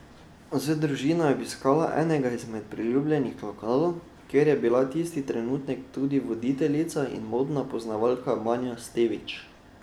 Z družino je obiskala enega izmed priljubljenih lokalov, kjer je bila tisti trenutek tudi voditeljica in modna poznavalka Manja Stević.